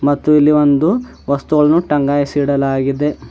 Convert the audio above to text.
ಮತ್ತು ಇಲ್ಲಿ ಒಂದು ವಸ್ತುಗಳನ್ನು ಟೈಂಗಾಯಿಸಿ ಇಡಲಾಗಿದೆ.